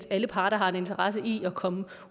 alle parter har en interesse i at komme